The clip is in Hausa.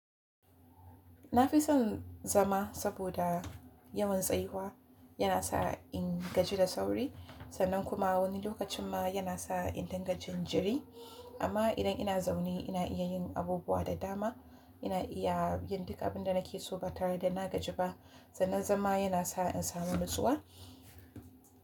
Na fi son zama saboda yawan tsayuwa yana sa in gaji da sauri sannan kuma wani lokacin ma yana sa in dinga jinjiri. Amma idan ina zaune ina iya yin abubuwa da dama. Ina iya yin duk abin da nake so ba tare da na gaji ba. Sannan zama yana sa in samu nutsuwa.